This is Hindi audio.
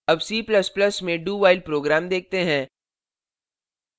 अब c ++ में do while program देखते हैं